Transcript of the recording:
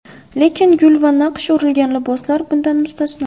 Lekin gul va naqsh urilgan liboslar bundan mustasno.